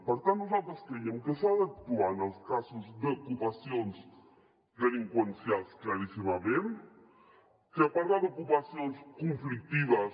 per tant nosaltres creiem que s’ha d’actuar en els casos d’ocupacions delinqüencials claríssimament que parlar d’ocupacions conflictives